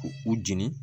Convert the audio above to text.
U u jeni